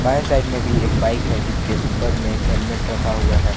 बायें साइड मे एक बाइक है जिसके ऊपर में एक हेल्मेट रखा हुआ है।